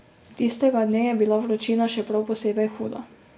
Tistega dne je bila vročina še prav posebej huda.